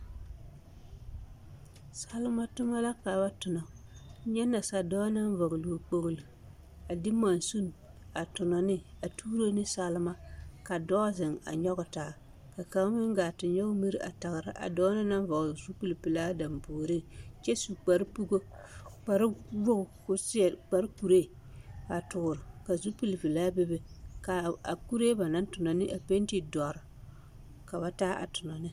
Salema toma la ka ba tonɔ, nyɛ nasa dɔɔ naŋ vɔgele o kpogilo a de mansin a tonɔ ne a tuuro ne salema ka dɔɔ zeŋ a nyɔge taa ka kaŋa meŋ gaa te nyɔge miri a tagera a dɔɔ na naŋ vɔgele zupili pelaa dampuoriŋ kyɛ su kpare pugo kpare wogi k'o seɛ kpare kuree a toore ka zupili velaa bebe k'a kuree ba naŋ tonɔ ne a penti dɔre ka ba taa a tonɔ ne.